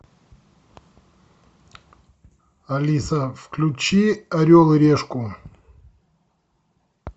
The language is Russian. алиса включи орел и решку